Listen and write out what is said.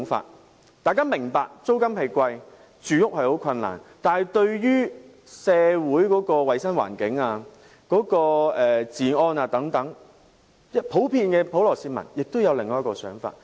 即使大家明白租金高昂，市民有住屋困難，但對於社會的衞生環境、治安等問題，普羅市民亦會有另一種想法。